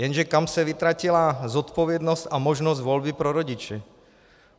Jenže kam se vytratila zodpovědnost a možnost volby pro rodiče?